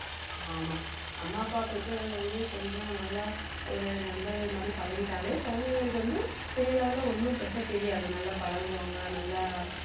ஆமா அம்மா அப்பா பெற்றோர் வந்து கொஞ்சம் நல்லா ஒரு நண்பர்கள் மாதிரி பழகிட்டாலே குழந்தைங்களுக்கு வந்து பெரிய level ல ஒண்ணும் பெருசா தெரியாது நல்லா பழகுவாங்க நல்லா